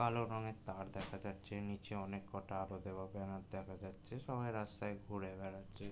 কালো রঙের তার দেখা যাচ্ছে নিচে অনেক কটা আলো দেওয়া বেনার দেখা যাচ্ছে সবাই রাস্তায় ঘুরে বেড়াচ্ছে।